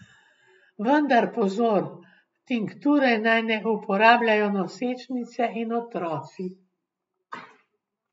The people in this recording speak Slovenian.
Vendar pozor, tinkture naj ne uporabljajo nosečnice in otroci.